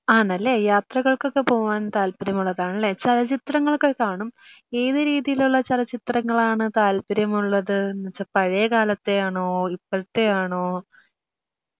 ആണല്ലേ യാത്രകൾകൊക്കെ പോവാൻ താല്പര്യമുള്ളതാണല്ലേ, ചലച്ചിത്രങ്ങളൊക്കെ കാണും, ഏത് രീതിയിലുള്ള ചലച്ചിത്രങ്ങളാണ് താല്പര്യമുള്ളത് ? പഴേകാലത്തെയാണോ ഇപ്പഴത്തെയാണോ?